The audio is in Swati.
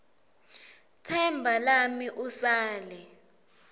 tsemba lami usale